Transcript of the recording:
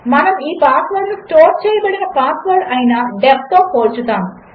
మనముఈపాస్వర్డ్నుస్టోర్చేయబడినపాస్వర్డ్అయిన DEF తోపోల్చుతాము